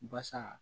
Basa